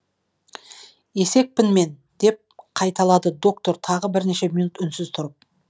есекпін мен деп қайталады доктор тағы бірнеше минут үнсіз тұрып